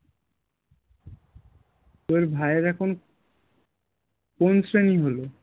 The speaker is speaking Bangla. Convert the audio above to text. তো ভাইয়ের এখন কোন শ্রেণী হলো?